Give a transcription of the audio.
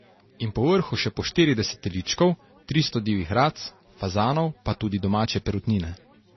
In po vrhu še po štirideset teličkov, tristo divjih rac, fazanov pa tudi domače perutnine.